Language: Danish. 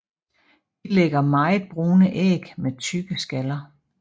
De lægger meget brune æg med tykke skaller